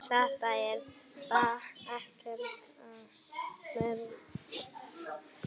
Þetta er ekkert að marka.